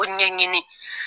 Ko ɲɛɲini